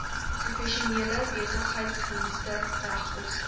professionele besigheidsdienste regskoste